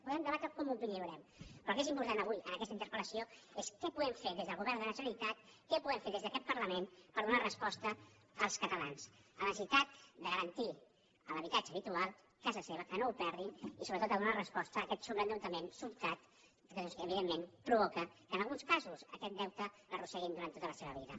podem debatre com ho lliurem però el que és important avui en aquesta interpel·lació és què podem fer des del govern de la generalitat què podem fer des d’aquest parlament per donar resposta als catalans a la necessitat de garan·tir l’habitatge habitual casa seva que no ho perdin i sobretot a donar resposta a aquest sobreendeutament sobtat que evidentment provoca que en alguns casos aquest deute l’arrosseguin durant tota la seva vida